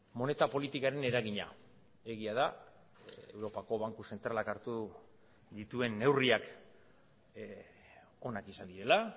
moneta politikaren eragina egia da europako banku zentralak hartu dituen neurriak onak izan direla